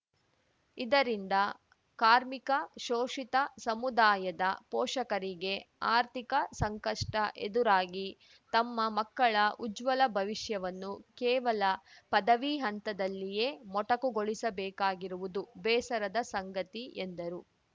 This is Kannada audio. ಇದರಿಂದ ಕಾರ್ಮಿಕ ಶೋಷಿತ ಸಮುದಾಯದ ಪೋಷಕರಿಗೆ ಆರ್ಥಿಕ ಸಂಕಷ್ಟಎದುರಾಗಿ ತಮ್ಮ ಮಕ್ಕಳ ಉಜ್ವಲ ಭವಿಷ್ಯವನ್ನು ಕೇವಲ ಪದವಿ ಹಂತದಲ್ಲಿಯೇ ಮೊಟಕುಗೊಳಿಸ ಬೇಕಾಗಿರುವುದು ಬೇಸರದ ಸಂಗತಿ ಎಂದರು